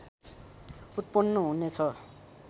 उत्पन्न हुने छ